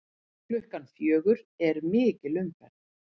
Klukkan fjögur er mikil umferð.